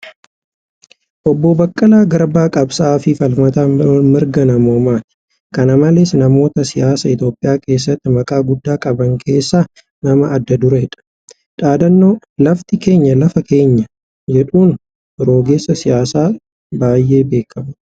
Obbo Baqqalaa Garbaa qabsaa'aa fi falmata mirga namoomaati. Kan malees , namoota siyaasa Itiyoophiyaa keessatti maqaa guddaa qaban keessaa nama adda adureedha. Dhaadannoo ' lafti keenya lafee keenya ' jedhuun rogeessa siyaasaa baay'ee beekamuudha.